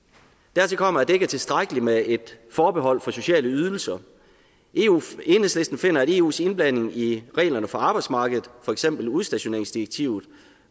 dertil kommer at det ikke er tilstrækkeligt med et forbehold over for sociale ydelser enhedslisten finder at eus indblanding i reglerne for arbejdsmarkedet for eksempel udstationeringsdirektivet